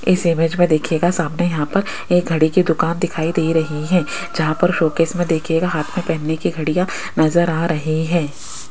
इस इमेज में देखिएगा सामने यहां पर एक घड़ी की दुकान दिखाई दे रही है जहां पर शूटकेश में देखिएगा हाथ में पहनने की घड़ियां नजर आ रही है।